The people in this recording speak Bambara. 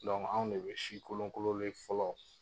anw de bɛ si kolon kolonlen fɔlɔ